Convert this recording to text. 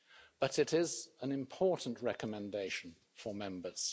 But it is an important recommendation for Members.